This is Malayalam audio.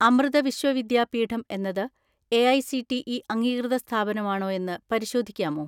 അമൃത വിശ്വവിദ്യാപീഠം എന്നത് എ.ഐ.സി.ടി.ഇ അംഗീകൃത സ്ഥാപനമാണോ എന്ന് പരിശോധിക്കാമോ?